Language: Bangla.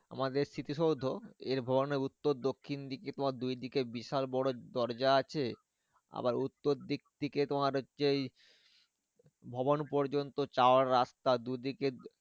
আমাদের স্মৃতিসৌধ এর ভবনে উত্তর দক্ষিণ দিকে তোমার দুই দিকে বিশাল বড়ো দরজা আছে। আবার উত্তর দিক থেকে তোমার হচ্ছে এই ভবন পর্যন্ত যাওয়ার রাস্তা দু দিকে